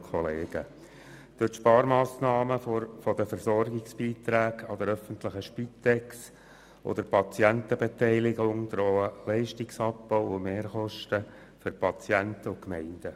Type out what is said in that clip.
Durch die Sparmassnahmen bei den Versorgungsbeiträgen der öffentlichen Spitex und der Patientenbeteiligung drohen den Gemeinden und Patienten Leistungsabbau und Mehrkosten.